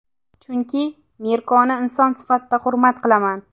Chunki Mirkoni inson sifatida hurmat qilaman.